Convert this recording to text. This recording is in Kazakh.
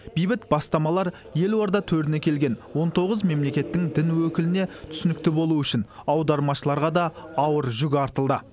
бейбіт бастамалар елорда төріне келген он тоғыз мемлекеттің дін өкіліне түсінікті болу үшін аудармашыларға да ауыр жүк артылды